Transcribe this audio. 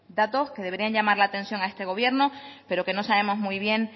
datos que deberían llamar la atención a este gobierno pero que no sabemos muy bien